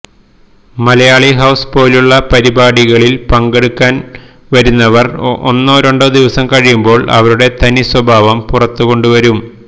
Malayali house പോലുള്ള പരിപാടികളില് പങ്കെടുക്കാന് വരുന്നവര് ഒന്നോ രണ്ടോ ദിവസം കഴിയുമ്പോള് അവരുടെ തനി സ്വഭാവം പുറത്തുകൊണ്ടുവരും